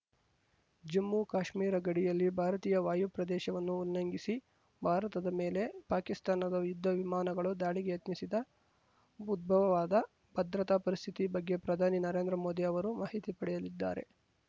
ಜಮ್ಮುಕಾಶ್ಮೀರ ಗಡಿಯಲ್ಲಿ ಭಾರತೀಯ ವಾಯು ಪ್ರದೇಶವನ್ನು ಉಲ್ಲಂಘಿಸಿ ಭಾರತದ ಮೇಲೆ ಪಾಕಿಸ್ತಾನದ ಯುದ್ಧ ವಿಮಾನಗಳು ದಾಳಿಗೆ ಯತ್ನಿಸಿದ ಉದ್ಭವವಾದ ಭದ್ರತಾ ಪರಿಸ್ಥಿತಿ ಬಗ್ಗೆ ಪ್ರಧಾನಿ ನರೇಂದ್ರ ಮೋದಿ ಅವರು ಮಾಹಿತಿ ಪಡೆಯಲಿದ್ದಾರೆ